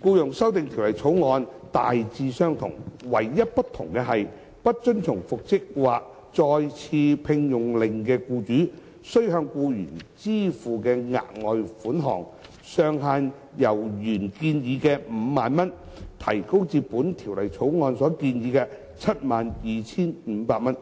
條例草案》大致相同，唯一不同的是，不遵從復職或再次聘用令的僱主須向僱員支付的額外款項上限，由原建議的 50,000 元提高至《條例草案》所建議的 72,500 元。